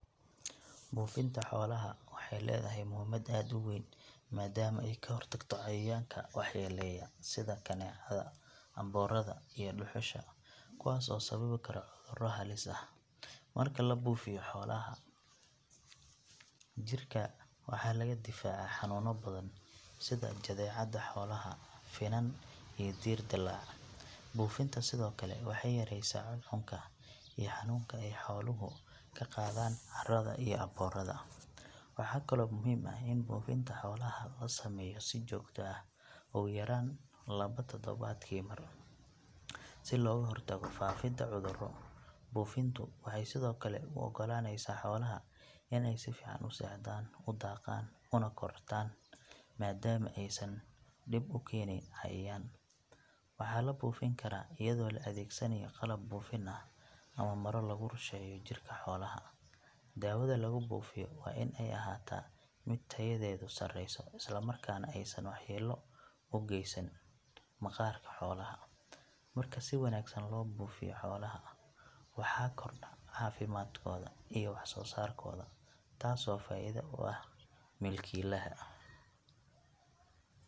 Buufinta xoolaha waxay leedahay muhiimad aad u weyn maadaama ay ka hortagto cayayaanka waxyeelleeya sida kaneecada, aboorada iyo dhuxusha kuwaas oo sababi kara cudurro halis ah. Marka la buufiyo xoolaha, jirka waxaa laga difaacaa xanuunno badan sida jadeecada xoolaha, finan iyo diir dilaac. Buufinta sidoo kale waxay yaraysaa cuncunka iyo xanuunka ay xooluhu ka qaadaan caarada iyo aboorada. Waxaa kaloo muhiim ah in buufinta xoolaha la sameeyo si joogto ah, ugu yaraan laba todobaadkii mar, si looga hortago faafidda cudurro. Buufintu waxay sidoo kale u oggolaanaysaa xoolaha in ay si fiican u seexdaan, u daaqaan una kortaan maadaama aysan dhib u keenayn cayayaan. Waxaa la buufin karaa iyadoo la adeegsanayo qalab buufin ah ama maro lagu rusheeyo jirka xoolaha. Daawada lagu buufiyo waa in ay ahaataa mid tayadeedu sareyso isla markaana aysan waxyeello u geysan maqaarka xoolaha. Marka si wanaagsan loo buufiyo xoolaha, waxaa kordha caafimaadkooda iyo wax soo saarkooda taasoo faa’iido u ah milkiilaha.